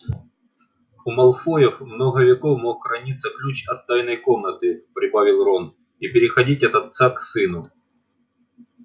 у малфоев много веков мог храниться ключ от тайной комнаты прибавил рон и переходить от отца к сыну